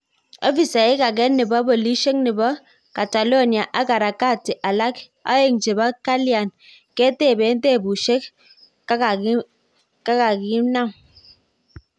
Ofisek age nepo polishek nepo catalonia ak harakati alak aegn chepo kalian ketepen tepushek kakaminam